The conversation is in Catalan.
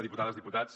diputades diputats